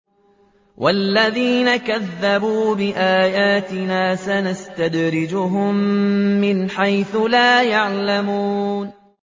وَالَّذِينَ كَذَّبُوا بِآيَاتِنَا سَنَسْتَدْرِجُهُم مِّنْ حَيْثُ لَا يَعْلَمُونَ